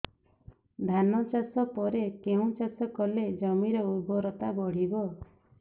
ଧାନ ଚାଷ ପରେ କେଉଁ ଚାଷ କଲେ ଜମିର ଉର୍ବରତା ବଢିବ